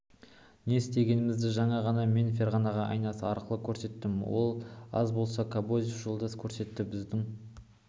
не істегенімізді жаңа ғана мен ферғана айнасы арқылы көрсеттім ол аз болса кобозев жолдас көрсетті біздің